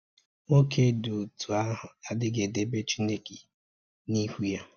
Nwọke dị otu ahụ ‘adịghi edebe chineke n’ihu ya.